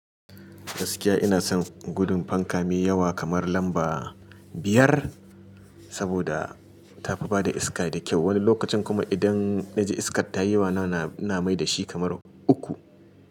Gaskiya ina son gudun fanka mai yawa kamar lamba biyar, saboda tafi bada iska da kyau. Wani lokacin kuma idan na ji iskar ta yi yawa, ina mai da shi kamar uku.